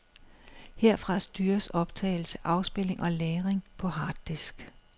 Herfra styres optagelse, afspilning og lagring på harddisk.